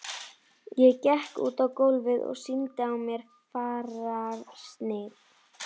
Ég gekk út á gólfið og sýndi á mér fararsnið.